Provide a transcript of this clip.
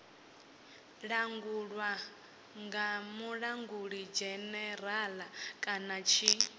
langulwe nga mulangulidzhenerala kana tshi